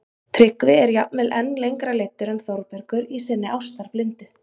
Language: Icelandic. Tryggvi er jafnvel enn lengra leiddur en Þórbergur í sinni ástarblindu